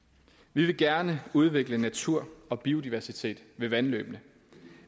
vi vil gerne udvikle natur og biodiversitet ved vandløbene